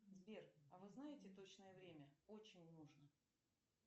сбер а вы знаете точное время очень нужно